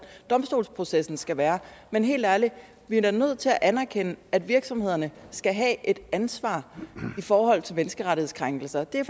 domstolsprocessen skal være men helt ærligt vi er da nødt til at anerkende at virksomhederne skal have et ansvar i forhold til menneskerettighedskrænkelser og det er